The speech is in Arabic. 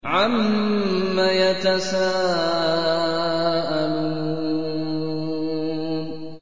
عَمَّ يَتَسَاءَلُونَ